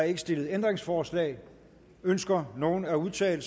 ikke stillet ændringsforslag ønsker nogen at udtale